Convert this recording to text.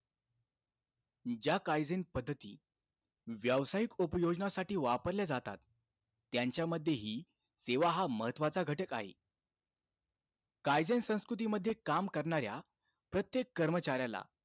ज्या काईझेन पद्धती, व्यावसायिक उपयोजनासाठी वापरल्या जातात, त्यांच्यामध्येही तेव्हा हा महत्वाचा घटक आहे. काईझेन संस्कृतीमध्ये काम करणाऱ्या प्रत्येक कर्मचाऱ्याला,